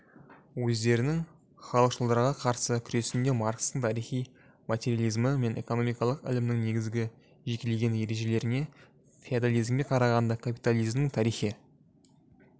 өздерінің халықшылдарға қарсы күресінде маркстің тарихи материализмі мен экономикалық ілімінің негізгі жекелеген ережелеріне феодализмге қарағанда капитализмнің тарихи